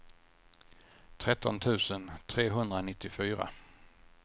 tretton tusen trehundranittiofyra